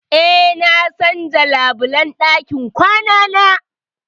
Eh, na canza labulan ɗakin kwanana.